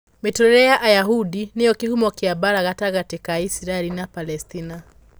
Mĩtũũrĩre ya Ayahudi nĩyo kĩhumo kĩa mbaara gatagatĩ ka Isiraeli na Palestina